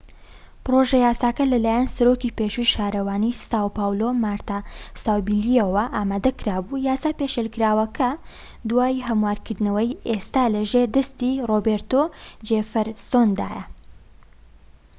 پڕۆژە یاساکە لەلایەن سەرۆکی پێشووی شارەوانی ساو پاولۆ مارتا ساوبلییەوە ئامادەکرا بوو. یاسا پێشنیارکراوەکە، دوای هەموارکردنەوەی، ئێستا لە ژێر دەستی ڕۆبێرتۆ جێفرسۆندایە‎